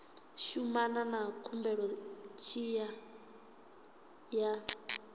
shumana na khumbelo tshi ya